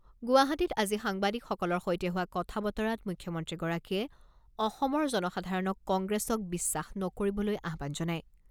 গুৱাহাটীত আজি সাংবাদিকসকলৰ সৈতে হোৱা কথা বতৰাত মুখ্যমন্ত্ৰীগৰাকীয়ে অসমৰ জনসাধাৰণক কংগ্ৰেছক বিশ্বাস নকৰিবলৈ আহ্বান জনায়।